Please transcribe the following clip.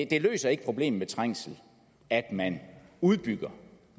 det løser ikke problemerne med trængsel at man udbygger